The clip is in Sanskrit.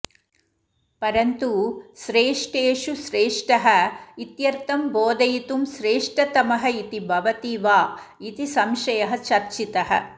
परन्तु श्रेष्ठेषु श्रेष्ठः इत्यर्थं बोधयितुं श्रेष्ठतमः इति भवति वा इति संशयः चर्चितः